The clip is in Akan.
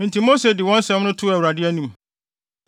Enti Mose de wɔn asɛm too Awurade anim.